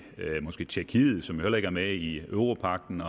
tjekkiet som heller ikke er med i europagten